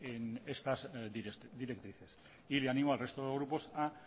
en estas directrices y animo al resto de grupos a